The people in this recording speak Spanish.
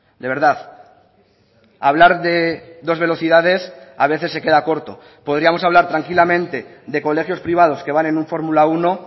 de verdad hablar de dos velocidades a veces se queda corto podríamos hablar tranquilamente de colegios privados que van en un fórmula uno